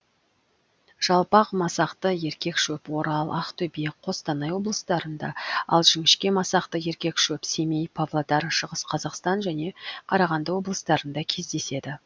жалпақ масақты еркек шөп орал ақтөбе қостанай облыстарыңда ал жіңіщке масақты еркек шөп семей павлодар шығыс қазақстан және қарағанды облыстарында кездеседі